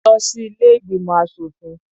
Lọ sí ilé ìgbìmọ̀ aṣòfin.